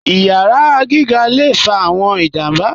Iyàrá gígà lè fà awọn ìjàmbà.